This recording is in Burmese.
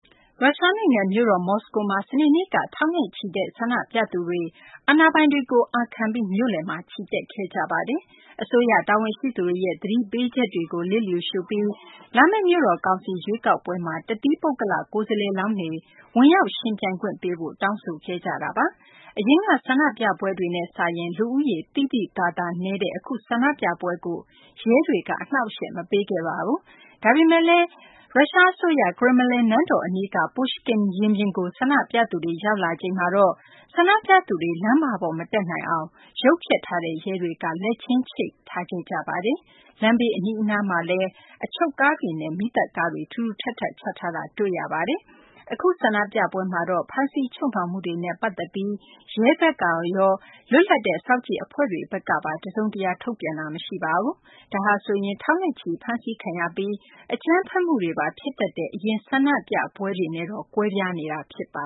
ရုရှားနိုင်ငံ မြို့တော် မော်စကိုမှာ စနေနေ့က ထောင်နဲ့ချီတဲ့ ဆန္ဒပြသူတွေ အာဏာပိုင်တွေကို အာခံပြီး မြို့လယ်မှာ ချီတက်ခဲ့ကြပါတယ်။ အစိုးရ တာဝန်ရှိသူတွေရဲ့ သတိပေးချက်တွေကို လျစ်လျူရှုပြီး လာမယ့် မြို့တော်ကောင်စီ ရွေးကောက်ပွဲမှာ တသီးပုဂ္ဂလ ကိုယ်စားလှယ်လောင်းတွေ ဝင်ရောက်ယှဉ်ပြိုင်ခွင့်ပေးဖို့ တောင်းဆိုခဲ့ကြပါတယ်။ အရင်က ဆန္ဒပြပွဲတွေနဲ့စာရင် လူဦးရေ သိသိသာသာနည်းတဲ့ အခုဆန္ဒပြပွဲကိုတော့ ရဲတွေက အနှောင့်အယှက် မပေးခဲ့ပါဘူး။ ဒါပေမယ့်လည်း ကရင်မလင်နန်းတော် အနီးက Pushkin ရင်ပြင်ကို ဆန္ဒပြသူတွေ ရောက်လာချိန်မှာတော့ ဆန္ဒပြသူတွေ လမ်းမပေါ် မတက်နိုင်အောင် ရုပ်ဖျက်ထားတဲ့ ရဲတွေက လက်ချင်းချိတ်ထားခဲ့ကြပါတယ်။ လမ်းဘေး အနီးအနားတွေမှာလည်း အချုပ်ကားတွေနဲ့ မီးသတ်ကားတွေ ထူထူထပ်ထပ် ချထားတာ တွေ့ရပါတယ်။ အခုဆန္ဒပြပွဲမှာတော့ ဖမ်းဆီးချုပ်နှောင်မှုတွေနဲ့ ပတ်သက်ပြီး ရဲဘက်ကရော၊ လွတ်လပ်တဲ့ စောင့်ကြည့်အဖွဲ့တွေကပါ တစုံတရာ ထုတ်ပြန်တာ မရှိပါဘူး။ ဒါဟာ ထောင်နဲ့ချီ ဖမ်းဆီးခံရပြီး အကြမ်းဖက်မှုတွေပါ ဖြစ်တတ်တဲ့ အရင် ဆန္ဒပြပွဲတွေနဲ့တော့ ကွဲပြားနေတာ ဖြစ်ပါ